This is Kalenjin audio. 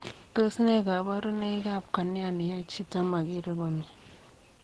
Tos nee kabarunoik ap kornea neyae chitoo makeree komie